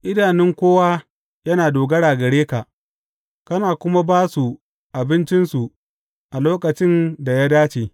Idanun kowa yana dogara gare ka, kana kuma ba su abincinsu a lokacin da ya dace.